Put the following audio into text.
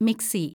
mixie